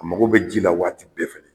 A mago be ji la waati bɛɛ fɛ